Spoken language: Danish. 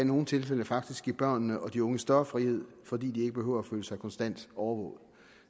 nogle tilfælde faktisk give børnene og de unge større frihed fordi de ikke behøver at føle sig konstant overvåget